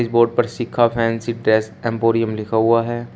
Board Shikha fancy dress emporium लिखा हुआ हैं।